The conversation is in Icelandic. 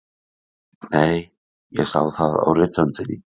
Nei, ég sá það á rithöndinni.